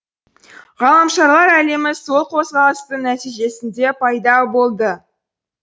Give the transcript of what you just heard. ғаламшарлар әлемі сол қозғалыстың нәтижесінде пайда болды